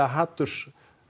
hatursáróðri